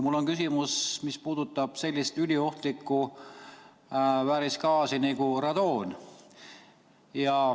Mul on küsimus, mis puudutab sellist üliohtlikku väärisgaasi nagu radoon.